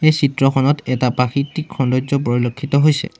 চিত্ৰখনত এটা প্ৰাকৃতিক সৌন্দৰ্য্য পৰিলক্ষিত হৈছে।